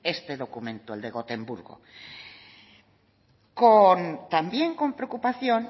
este documento el de gotemburgo también con preocupación